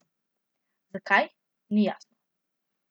Zakaj, ni jasno.